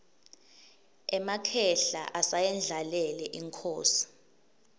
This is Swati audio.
emakhehla asayendlalele inkhosi